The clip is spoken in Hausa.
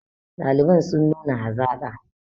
ɗaliban sun nuna hazaƙa